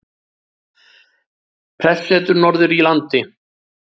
Prestssetur norður í landi.